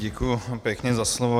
Děkuji pěkně za slovo.